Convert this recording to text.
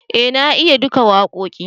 eh na iya duka wakoƙin